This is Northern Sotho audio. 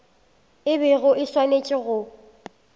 o bego o swanetše go